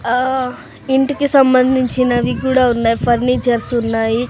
అహ్ ఇంటికి సంబంధించినవి కూడా ఉన్నాయి ఫర్నిచర్స్ ఉన్నాయి.